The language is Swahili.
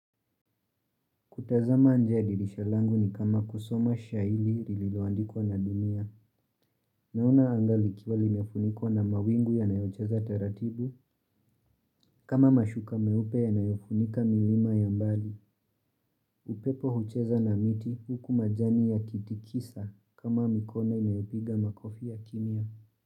Kutazama nje ya dirisha langu ni kama kusoma shairi lililoandikwa na dunia. Naona anga likiwa limefunikwa na mawingu yanayocheza taratibu. Kama mashuka meupe yanayofunika milima ya mbali. Upepo hucheza na miti huku majani yakitikisa kama mikono inayopiga makofi ya kimya.